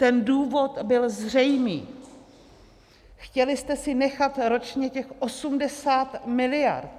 Ten důvod byl zřejmý - chtěli jste si nechat ročně těch 80 miliard.